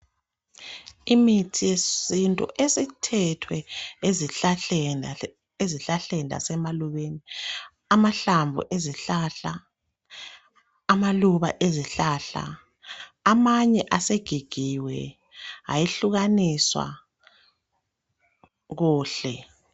Imithi yesintu esithethwe ezihlahleni lasemalubeni, amahlamvu ezihlahla, amaluba ezihlahla amanye asegigiwe ayehlukaniswa kuhle.